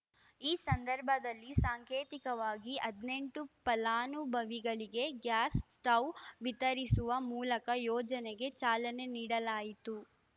ಈ ಸಂದರ್ಭದಲ್ಲಿ ಸಾಂಕೇತಿಕವಾಗಿ ಹದಿನೆಂಟು ಫಲ ಅನುಭವಿಗಳಿಗೆ ಗ್ಯಾಸ್‌ ಸ್ಟೌವ್‌ ವಿತರಿಸುವ ಮೂಲಕ ಯೋಜನೆಗೆ ಚಾಲನೆ ನೀಡಲಾಯಿತು